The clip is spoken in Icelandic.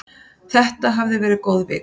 Þetta hafði verið góð vika.